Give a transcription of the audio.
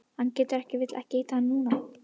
Hann getur ekki vill ekki hitta hana núna.